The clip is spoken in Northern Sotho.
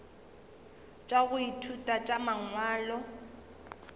tša go ithuta tša mangwalo